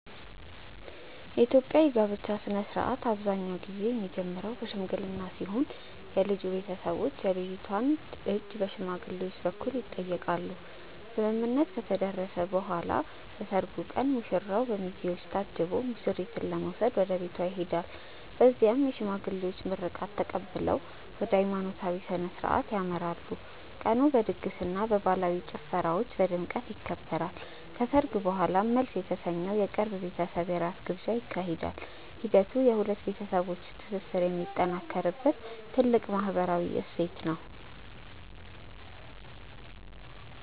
የኢትዮጵያ የጋብቻ ሥነ ሥርዓት አብዛኛውን ጊዜ የሚጀምረው በሽምግልና ሲሆን የልጁ ቤተሰቦች የልጅቷን እጅ በሽማግሌዎች በኩል ይጠይቃሉ። ስምምነት ከተደረሰ በኋላ በሰርጉ ቀን ሙሽራው በሚዜዎች ታጅቦ ሙሽሪትን ለመውሰድ ወደ ቤቷ ይሄዳል። በዚያም የሽማግሌዎች ምርቃት ተቀብለው ወደ ሃይማኖታዊ ሥነ ሥርዓት ያመራሉ። ቀኑ በድግስና በባህላዊ ጭፈራዎች በድምቀት ይከበራል። ከሰርግ በኋላም መልስ የተሰኘው የቅርብ ቤተሰብ የራት ግብዣ ይካሄዳል። ሂደቱ የሁለት ቤተሰቦች ትስስር የሚጠናከርበት ትልቅ ማህበራዊ እሴት ነው።